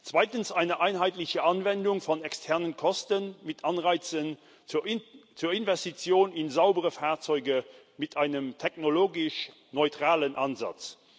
Zweitens eine einheitliche Anwendung von externen Kosten mit Anreizen zur Investition in saubere Fahrzeuge mit einem technologisch neutralen Ansatz.